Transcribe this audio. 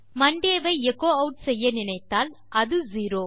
Monte ஐ எச்சோ add செய்ய நினைத்தால் அது செரோ